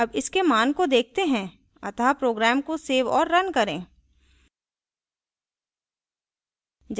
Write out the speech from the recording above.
अब इसके मान को देखते हैं अतः program को सेव और now करें